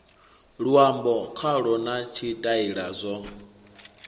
luambo khalo na tshitaila zwo